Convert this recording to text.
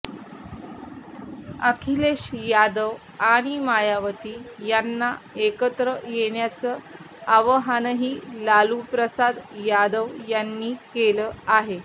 अखिलेश यादव आणि मायावती यांना एकत्र येण्याचं आवाहनही लालूप्रसाद यादव यांनी केलं आहे